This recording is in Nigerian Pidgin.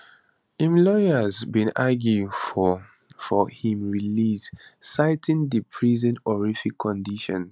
im lawyers bin argue for for im release citing di prison horrific conditions